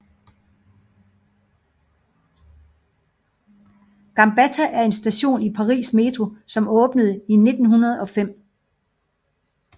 Gambetta er en station i Paris metro som åbnede 1905